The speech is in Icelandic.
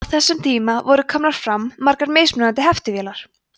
á þessum tíma voru komnar fram margar mismunandi heftivélar